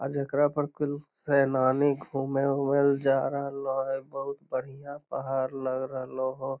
आ जेकरा पर कुल सैनानी घूमे उमे ला जा रहले हेय बहुत बढ़िया पहाड़ लग रहल हेय।